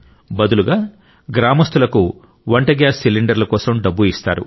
బదులుగా గ్రామస్తులకు వంట గ్యాస్ సిలిండర్ల కోసం డబ్బు ఇస్తారు